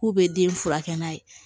K'u bɛ den furakɛ n'a ye